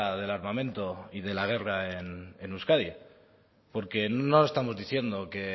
del armamento y de la guerra en euskadi porque no estamos diciendo que